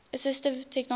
assistive technology